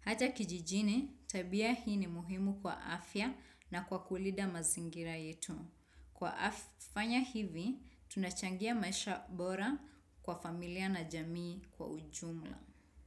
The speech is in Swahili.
Hata kijijini, tabia hii ni muhimu kwa afya na kwa kulinda mazingira yetu. Kwa fanya hivi, tunachangia maisha bora kwa familia na jamii kwa ujumla.